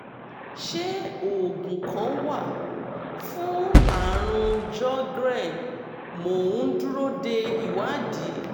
ṣé oògùn kan wà fún àrùn sjogren? mo ń dúró de ìwádìí